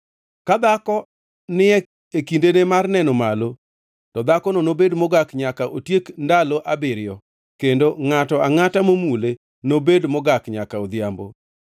“ ‘Ka dhako ni e kindene mar neno malo, to dhakono nobed mogak nyaka otiek ndalo abiriyo, kendo ngʼato angʼata momule nobed mogak nyaka odhiambo.